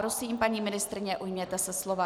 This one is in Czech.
Prosím, paní ministryně, ujměte se slova.